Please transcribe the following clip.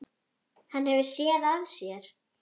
Hann hefur SÉÐ AÐ SÉR.